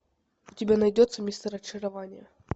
у тебя найдется мистер очарование